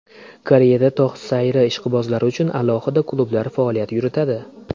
Koreyada tog‘ sayri ishqibozlari uchun alohida klublar faoliyat yuritadi.